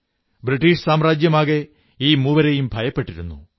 British സാമ്രാജ്യമാകെ ഈ മൂവരെയും ഭയപ്പെട്ടിരുന്നു